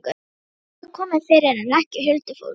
Þó hefur það komið fyrir, en ekki huldufólk.